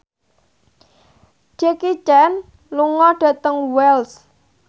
Jackie Chan lunga dhateng Wells